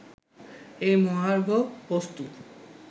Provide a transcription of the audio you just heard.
এই মহার্ঘ বস্তু